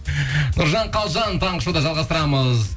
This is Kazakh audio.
нұржан қалжан таңғы шоуда жалғастырамыз